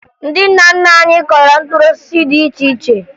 Ndị nna nna anyị kụrụ mkpụrụ osisi dị iche iche